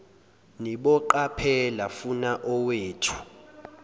niboqaphela funa owethu